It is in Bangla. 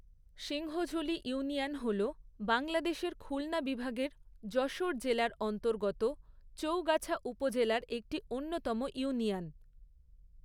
সিংহঝুলী ইউনিয়ন হল বাংলাদেশের খুলনা বিভাগের যশোর জেলার অন্তর্গত চৌগাছা উপজেলার একটি অন্যতম ইউনিয়ন।